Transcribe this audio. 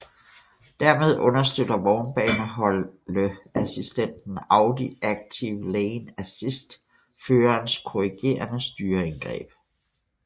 Dermed understøtter vognbaneholdeassistenten Audi active lane assist førerens korrigerende styreindgreb